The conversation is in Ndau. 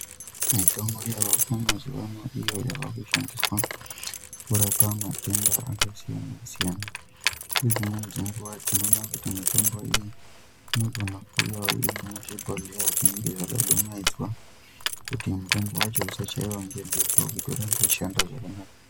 Mitombo yemazuva ano iyo inoshandiswa kurapa matenda akasiyana siyana nedzimweni dzenguwa tinoona kuti mitombo iyi inonga iri muzvibhedhlera zvinonga zvinodumaidzwa kuti nduma yacho isachaiwa nemhepo kuti zvishande zvanakana.